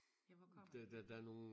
ja hvor kommer det fra